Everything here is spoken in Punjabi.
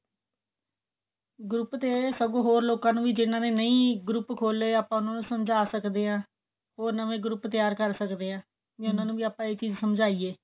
group ਤੇ ਸਗੋ ਹੋਰ ਲੋਕਾ ਨੇ ਜਿੰਨਾ ਨੇ ਨਹੀਂ group ਖੋਲਿਆ ਆਪਾਂ ਉਹਨਾਂ ਨੂੰ ਸਮਝਾ ਸਕਦੇ ਹਾਂ ਉਹ ਨਵੇਂ group ਤਿਆਰ ਕਰ ਸਕਦੇ ਆ ਉਹਨਾਂ ਨੂੰ ਆਪਾਂ ਇਹ ਚੀਜ ਸਮਝਾਈਏ